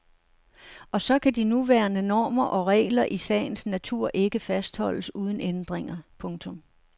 Og så kan de nuværende normer og regler i sagens natur ikke fastholdes uden ændringer. punktum